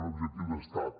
un objectiu d’estat